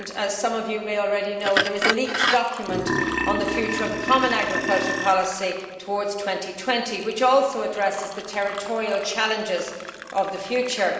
As some of you may already know, there is a leaked document on the future of the common agricultural policy towards 2020, which also addresses the territorial challenges of the future.